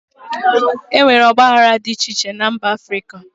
E nwere ọgbaghara dị iche iche na mba Africa.